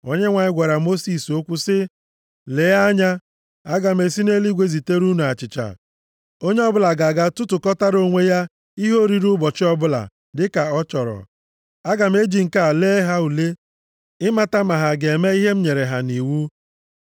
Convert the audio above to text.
Onyenwe anyị gwara Mosis okwu sị, “Lee anya, aga m esi nʼeluigwe zitere unu achịcha. Onye ọbụla ga-aga tụtụkọtara onwe ya ihe oriri ụbọchị ọbụla dịka ọ chọrọ. Aga m eji nke a lee ha ule ịmata ma ha ga-eme ihe m nyere ha nʼiwu.